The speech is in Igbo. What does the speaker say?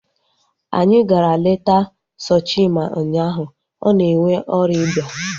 Anyị gara leta Sochima ụnyaahụ. Ọ na-enwe ọrịa iba